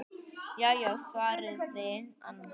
Já já, svaraði annar.